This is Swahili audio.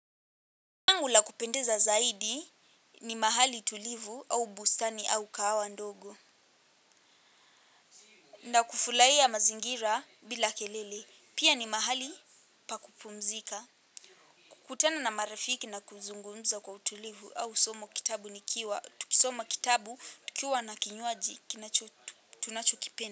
Langu la kupendeza zaidi ni mahali tulivu au bustani au kahawa ndogo. Na kufurahia mazingira bila kelele pia ni mahali pa kupumzika. Kukutana na marafiki na kuzungumza kwa utulivu au somo kitabu nikiwa tukisoma kitabu tukiwa na kinywaji kinachotu tunachokipenda.